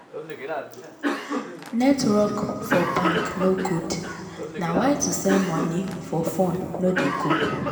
netwrok for bank no good na why to send money for fone no de go